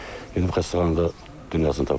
Gedib xəstəxanada dünyasını tapşırıb.